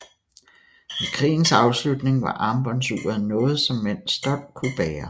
Ved krigens afslutning var armbåndsuret noget som mænd stolt kunne bære